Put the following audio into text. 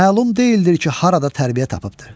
Məlum deyildir ki, harada tərbiyə tapıbdır.